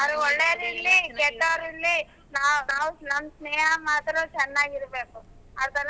ಅವರು ಒಳ್ಳೆವರು ಇರ್ಲಿ ಕೆಟ್ಟವರ್ ಇರ್ಲಿ ನಾವ್ ನಮ್ ಸ್ನೇಹ ಮಾತ್ರ ಚೆನ್ನಾಗ ಇರಬೇಕು ಆತರ.